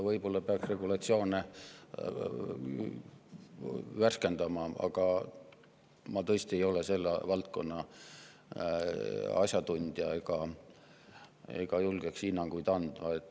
Võib-olla peaks regulatsioone värskendama, aga ma tõesti ei ole selle valdkonna asjatundja ega julgeks hinnanguid anda.